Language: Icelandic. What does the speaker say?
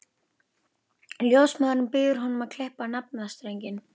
Ljósmóðirin býður honum að klippa á naflastrenginn.